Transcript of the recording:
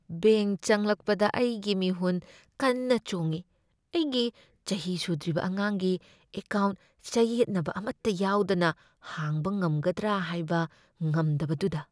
Bank ꯆꯪꯂꯛꯄꯗ, ꯑꯩꯒꯤ ꯃꯤꯍꯨꯟ ꯀꯟꯅ ꯆꯣꯡꯢ, ꯑꯩꯒꯤ ꯆꯍꯤ ꯁꯨꯗ꯭ꯔꯤꯕ ꯑꯉꯥꯡꯒꯤ ꯑꯦꯀꯥꯎꯟꯠ ꯆꯌꯦꯠꯅꯕ ꯑꯃꯠꯇ ꯌꯥꯎꯗꯅ ꯍꯥꯡꯕ ꯉꯝꯒꯗ꯭ꯔ ꯍꯥꯢꯕ ꯉꯝꯗꯕꯗꯨꯗ꯫